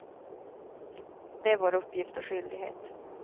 Det är vår uppgift och skyldighet.